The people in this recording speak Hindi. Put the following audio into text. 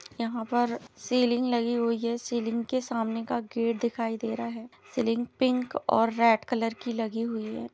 यहाँ पर सीलिंग लगी हुई है सीलिंग के सामने का गेट दिखाई दे रहा है सीलिंग पिंक और रेड कलर की लगी हुई है।